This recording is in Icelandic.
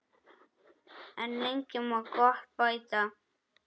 En lengi má gott bæta.